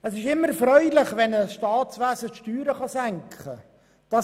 Es ist immer erfreulich, wenn ein Staatswesen die Steuern senken kann.